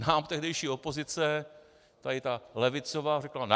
Nám tehdejší opozice, tady ta levicová, řekla ne.